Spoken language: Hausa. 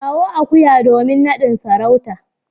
kawo akuya domin nadin sarauta.